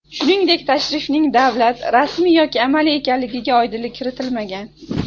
Shuningdek, tashrifning davlat, rasmiy yoki amaliy ekanligiga oydinlik kiritilmagan.